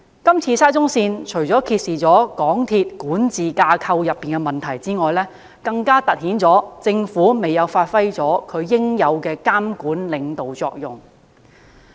是次沙中線事件，除揭示港鐵公司管治架構的問題外，更凸顯政府未有發揮其應有的監管和領導作用。